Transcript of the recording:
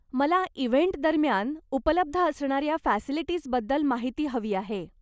मला इव्हेंटदरम्यान उपलब्ध असणाऱ्या फॅसिलिटीजबद्दल माहिती हवी आहे.